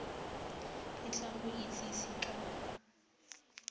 e tla go itsise ka